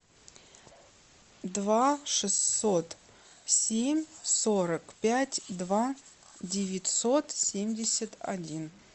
два шестьсот семь сорок пять два девятьсот семьдесят один